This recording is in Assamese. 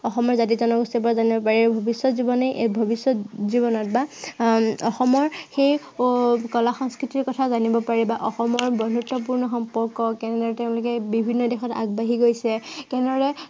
অসমৰ জাতি-জনগোষ্ঠীৰ পৰা জানিব পাৰি। ভৱিষ্য়ত জীৱনে এৰ ভৱিষ্য়ত জীৱনত বা আহ অসমৰ সেই আহ কলা সংস্কৃতিৰ কথা জানিব পাৰি বা অসমৰ বন্ধুত্বপূৰ্ণ সম্পৰ্ক কেনেকে তেওঁলোকে বিভিন্ন দিশত আগবাঢ়ি গৈছে। কেনেদৰে